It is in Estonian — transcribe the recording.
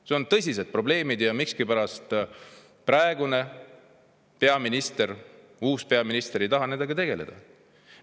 Need on tõsised probleemid ja miskipärast praegune peaminister, uus peaminister ei taha nendega tegeleda.